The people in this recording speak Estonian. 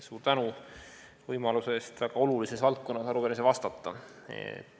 Suur tänu võimaluse eest väga olulises valdkonnas arupärimisele vastata!